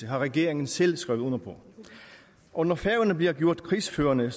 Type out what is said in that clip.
har regeringen selv skrevet under på og når færøerne bliver gjort krigsførende